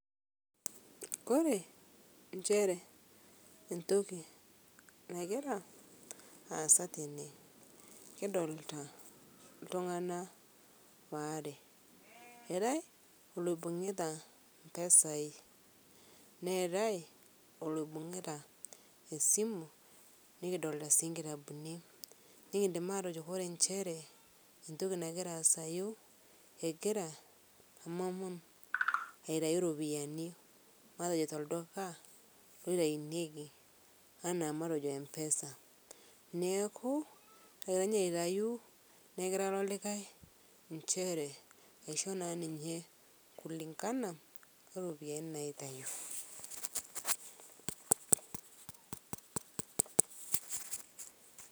Kore enchere ntoki nagira aasa tenee kidolita ltung'ana waare eatai loibung'ita mpesai neatai oloibung'ita esimu nikidolitaa sii nkitabuni nikindim atojoo kore enchere ntoki nagira aasayu egira emom aitai ropiyani matojo tolduka eitainyeki ana matejo empesa neaku etony aitayu negiraa ilo likai nchere aisho naa ninyee kulingana oropiyanii naitayu.